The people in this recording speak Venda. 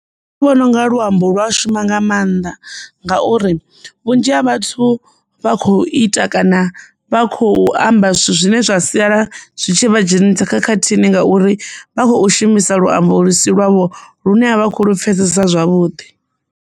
Ndi vhona u nga luambo lwa a shuma nga mannḓa ngauri vhunzhi ha vhathu vha kho ita kana vha khou amba zwithu zwine zwa sia zwitshi vha dzhenisa khakhathini ngauri vha khou shumisa luambo ḽisi lwavho lune ha vha kho lu pfhesesa zwavhuḓi.